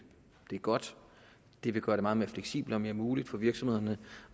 godt det vil gøre det meget mere fleksibelt og mere muligt for virksomhederne